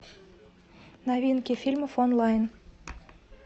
новинки фильмов онлайн